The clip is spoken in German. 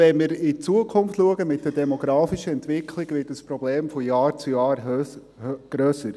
Wenn wir in die Zukunft blicken, wird dieses Problem mit der demografischen Entwicklung von Jahr zu Jahr grösser.